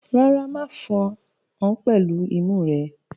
Rárá, ma fan án pẹ̀lú imú rẹ.